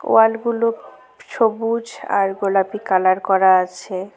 ওয়াল -গুলো সবুজ আর গোলাপি কালার করা আছে।